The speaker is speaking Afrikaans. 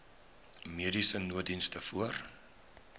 mediese nooddiens voor